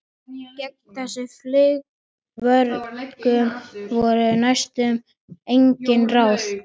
Gegn þessum fleygu vörgum voru næstum engin ráð.